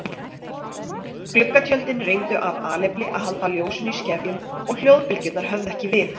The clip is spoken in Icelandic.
Gluggatjöldin reyndu af alefli að halda ljósinu í skefjum og hljóðbylgjurnar höfðu ekki við.